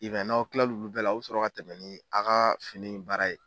I wɛn n'aw kila olu bɛɛ la a be sɔrɔ ka tɛmɛ ni aw ka fini baara ye